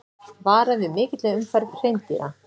Varað við mikilli umferð hreindýra